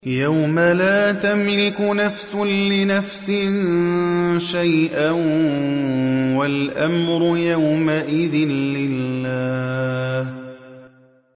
يَوْمَ لَا تَمْلِكُ نَفْسٌ لِّنَفْسٍ شَيْئًا ۖ وَالْأَمْرُ يَوْمَئِذٍ لِّلَّهِ